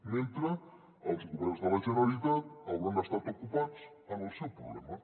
mentre els governs de la generalitat hauran estat ocupats en el seu problema